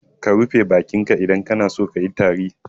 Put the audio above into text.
Ka rufe bakin ka idan kana so kayi tari.